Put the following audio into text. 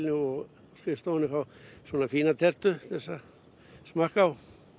og á skrifstofunni fá fína tertu til að smakka á